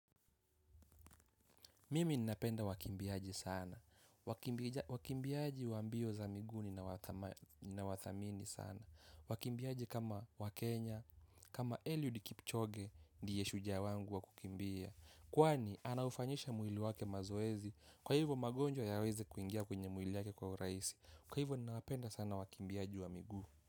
Mimi ninapenda wakimbiaji sana, wakimbiaji wa mbio za miguu ni nawathamini sana, wakimbiaji kama wa Kenya, kama Eliud Kipchoge ndiye shujaa wangu wa kukimbia, kwani anaufanyisha mwili wake mazoezi, kwa hivyo magonjwa yawezi kuingia kwenye mwili wake kwa uraisi, kwa hivo ninapenda sana wakimbiaji wa miguu.